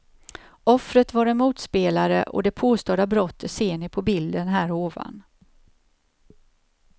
Offret var en motspelare och det påstådda brottet ser ni på bilden här ovan.